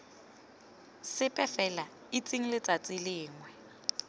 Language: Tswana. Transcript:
sepe fela itseng letsatsi lengwe